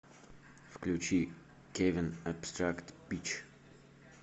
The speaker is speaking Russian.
включи кевин абстракт пич